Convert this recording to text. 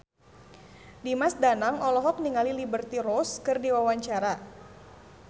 Dimas Danang olohok ningali Liberty Ross keur diwawancara